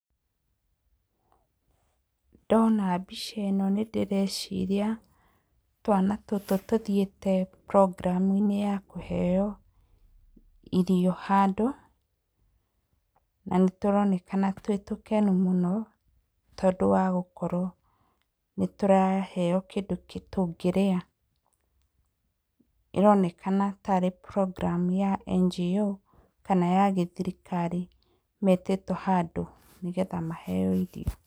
Ndona mbica ĩno nĩndĩreciria tũana tũtũ tũthiĩte programme -inĩ ya kũheo irio handũ na nĩtũroneka twĩ tũkenu mũno nĩ ũndũ wa gũkorwo nĩtũraheo kĩndũ tũngĩrĩa. ĩronekana tarĩ programme ya NGO kana ya gĩthirikari metĩtwo handũ nĩgetha maheo irio.